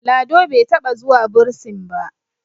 Lado bai taɓa zuwa bursin ba